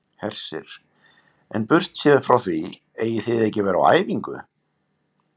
Hersir: En burtséð frá því eigið þið ekki að vera á æfingu?